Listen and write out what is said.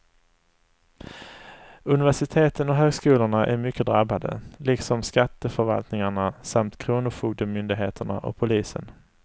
Universiteten och högskolorna är mycket drabbade, liksom skatteförvaltningarna samt kronofogdemyndigheterna och polisen.